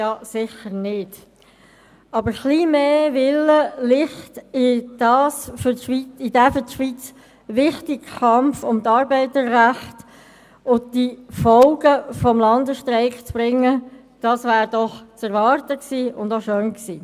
Aber ein wenig mehr Willen, Licht in den für die Schweiz wichtigen Kampf um die Arbeiterrechte und die Folgen des Landesstreiks zu bringen, das wäre doch zu erwarten gewesen, und es wäre auch schön gewesen.